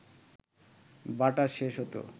বাটা শেষ হত